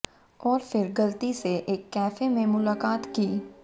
और फिर गलती से एक कैफे में मुलाकात की